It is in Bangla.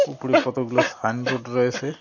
উপরে কতগুলো সাইন বোর্ড রয়েসে।